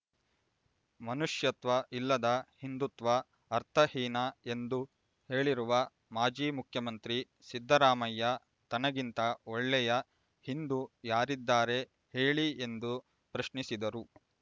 ಮನುಷ್ಯತ್ವ ಇಲ್ಲದ ಹಿಂದುತ್ವ ಅರ್ಥಹೀನ ಎಂದು ಹೇಳಿರುವ ಮಾಜಿ ಮುಖ್ಯಮಂತ್ರಿ ಸಿದ್ದರಾಮಯ್ಯ ತನಗಿಂತ ಒಳ್ಳೆಯ ಹಿಂದು ಯಾರಿದ್ದಾರೆ ಹೇಳಿ ಎಂದು ಪ್ರಶ್ನಿಸಿದರು